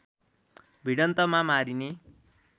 भिडन्तमा मारिने